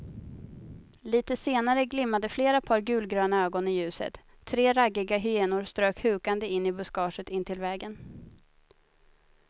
Litet senare glimmade flera par gulgröna ögon i ljuset, tre raggiga hyenor strök hukande in i buskaget intill vägen.